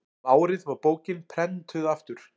um árið var bókin prenntuð aftur